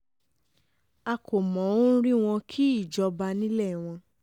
a kò mọ̀ ọ́n rí wọn kì í jọba nílé wọn